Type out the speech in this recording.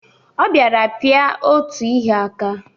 Ọ bịara pịa otu ihe aka.